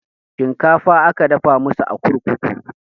Shinkafa aka dafa masu a kurkuku